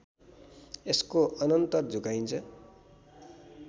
यसको अनन्तर झुकाइन्छ